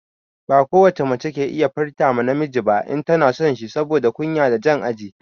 Ba ko wace mace ke iya furta ma namiji ba in tana son shi saboda kunya da jan aji.